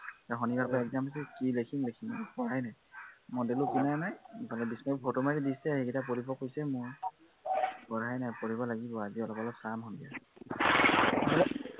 এৰ শনিবাৰৰ পৰা exam আছে, কি লেখিম লেখিম আৰু পঢ়াই নাই। model ও কিনা নাই, ইভাগে photo মাৰি দিছে, সেইকেইটা পঢ়িব কৈছে মোক। পঢ়াই নাই, পঢ়িব লাগিব, আজি অলপ অলপ চাম সন্ধিয়া